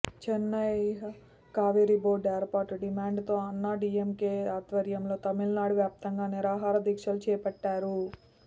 Chennai Kaveri board ఏర్పాటు demand తో అన్నాడీఎంకే ఆధ్వర్యంలో తమిళనాడు వ్యాప్తంగా నిరాహార దీక్షలు చేపట్టారు